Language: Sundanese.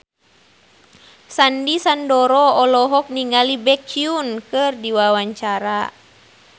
Sandy Sandoro olohok ningali Baekhyun keur diwawancara